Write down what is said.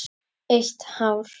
Eitt hár.